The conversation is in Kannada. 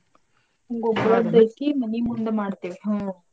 ಗುಗ್ಗಳದ್ದೈತಿ ಮನಿ ಮುಂದ ಮಾಡ್ತೇವಿ ಹ್ಮ್.